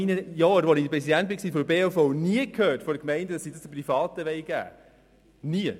In diesen Jahren habe ich von den Gemeindennie gehört, dass sie das Privaten übertragen wollen.